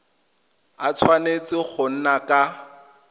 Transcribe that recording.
a tshwanetse go nna ka